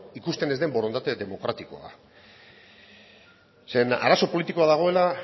ikusten ez den borondate demokratikoa zeren arazo politikoa dagoela